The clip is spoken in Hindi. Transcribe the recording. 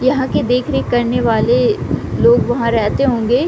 यहाँ की देख-रेख करने वाले लोग वहां रहते होंगे।